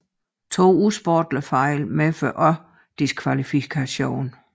To usportslige fejl medfører også diskvalifikation